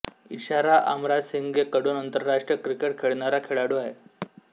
इशारा अमरासिंगे कडून आंतरराष्ट्रीय क्रिकेट खेळणारा खेळाडू आहे